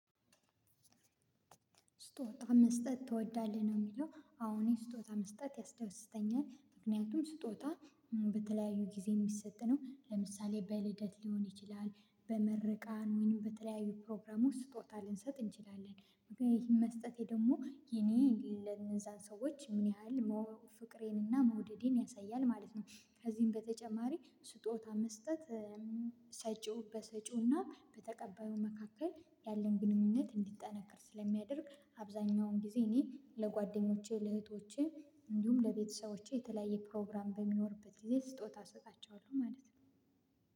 ስጦታ መስጠት ትወዳለህ ነው የሚለው አሁን ስጦታ መስጠት ያስደስተኛል ምክንያቱም ስጦታ በተለያዩ ጊዜ የሚሰጥ ነው ለምሳሌ በልደት ሊሆን ይችላል በምርቃን ወይም በተለያዩ ፕሮግራሞች ስጦታ ልንሰጥ እንችላለን ምክንያቱም ይህ መስጠቴ ደግሞ የኔ ለእነዛን ሰዎች ምን ያህል ፍቅሬንና መውደዴን ያሳያል ማለት ነው። ከዚህም በተጨማሪ ስጦታ መስጠት ሰጪው በሰጪውና በተቀባዩ መካከል ያለን ግንኙነት እንዲጠነክር ስለሚያደርግ አብዛኛውን ጊዜ እኔ ለጓደኞቼ ለእህቶቼ እንዲሁም ለቤተሰቦቼ የተለያየ ፕሮግራም በሚኖርበት ጊዜ ስጦታ እሰጣቸዋለሁ ማለት ነው።